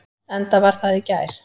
Enda var það í gær.